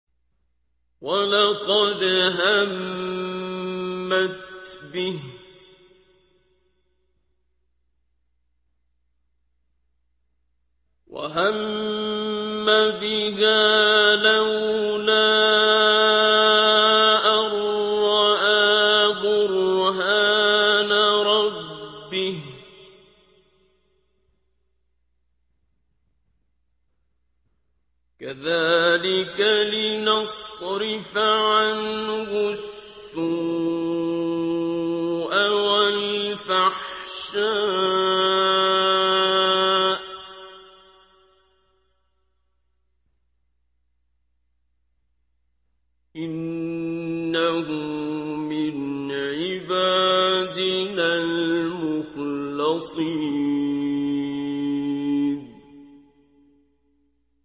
وَلَقَدْ هَمَّتْ بِهِ ۖ وَهَمَّ بِهَا لَوْلَا أَن رَّأَىٰ بُرْهَانَ رَبِّهِ ۚ كَذَٰلِكَ لِنَصْرِفَ عَنْهُ السُّوءَ وَالْفَحْشَاءَ ۚ إِنَّهُ مِنْ عِبَادِنَا الْمُخْلَصِينَ